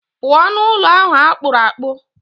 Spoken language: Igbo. Pụọ n'ụlọ ahụ akpụrụ akpụ.